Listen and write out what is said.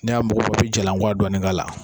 N'i y'a mugu bɔ i bɛ jalan kɔwa dɔɔni k'a la